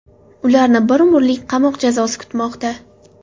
Ularni bir umrlik qamoq jazosi kutmoqda.